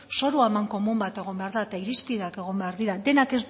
zoru amankomun bat egon behar da eta irizpideak egon behar dira denak